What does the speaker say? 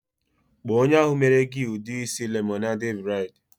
Kpo onye ahu mere gi udi isi lemonade braid